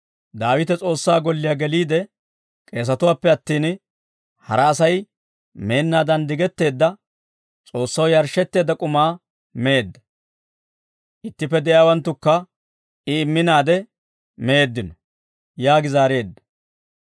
Daawite S'oossaa golliyaa geliide k'eesatuwaappe attin hara Asay meennaadan digetteedda, S'oossaw yarshshetteedda k'umaa meedda. Ittippe de'iyaawanttukka I imminaade meeddino» yaagi zaareedda.